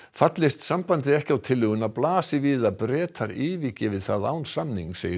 fallist sambandið ekki á tillöguna blasi við að Bretar yfirgefi það án samnings